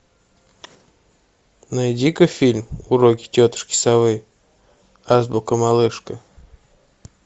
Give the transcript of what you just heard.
найди ка фильм уроки тетушки совы азбука малышка